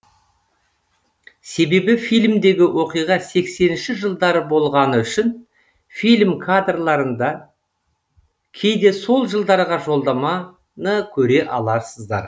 себебі фильмдегі оқиға сексенінші жылдары болғаны үшін фильм кадрларында кейде сол жылдарға жолдаманы көре аласыздар